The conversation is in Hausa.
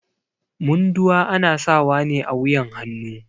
Munduwa ana sawa ne a wuƴan hannu.